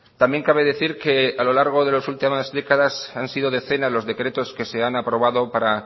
también cabe decir que a lo largo de los últimas décadas han sido decenas los decretos que se han aprobado para